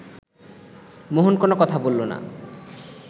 মোহন কোনো কথা বলল না